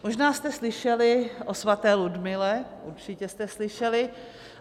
Možná jste slyšeli o svaté Ludmile, určitě jste slyšeli.